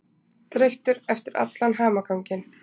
Þreyttur eftir allan hamaganginn.